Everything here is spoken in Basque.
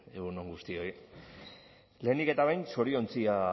egun on guztioi lehenik eta behin zoriontzea